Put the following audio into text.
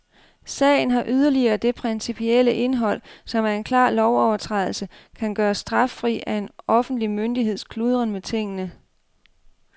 Sagen har yderligere det principielle indhold, om en klar lovovertrædelse kan gøres straffri af en offentlig myndigheds kludren med tingene.